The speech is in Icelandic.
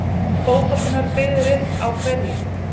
Fótboltinn var byggður upp á hverju?